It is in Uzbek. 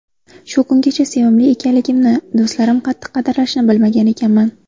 Shu kungacha sevimli ekanligimni, do‘stlarim qattiq qadrlashini bilmagan ekanman.